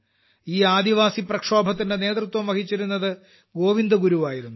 ഈ ആദിവാസി പ്രക്ഷോഭത്തിന്റെ നേതൃത്വം വഹിച്ചിരുന്ന ഗോവിന്ദ്ഗുരു ആയിരുന്നു